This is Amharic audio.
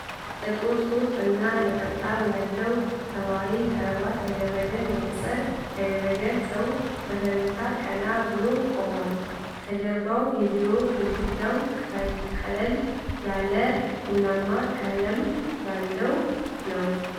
ጥቁር ሱፍ እና ነጠብጣብ ያለው ሰማያዊ ክራቫት ያደረገ መነፅር ያደረገ ሰው በፈገግታ ቀና ብሎ ቆሙዏል። ከጀርባው የቢሮ ግድግዳው ቀለል ያለ ቡናማ ቀለም ያለው ነው።